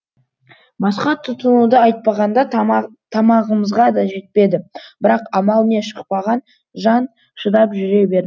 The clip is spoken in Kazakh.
басқа тұтынуды айтпағанда тамағымызға да жетпеді бірақ амал не шықпаған жан шыдап жүре бер